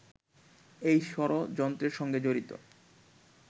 এই ষড়যন্ত্রের সঙ্গে জড়িত